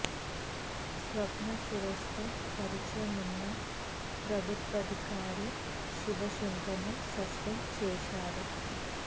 స్వప్న సురేశ్ తో పరిచయం ఉన్న ప్రభుత్వాధికారి శివశంకర్ ను సస్పెండ్ చేశారు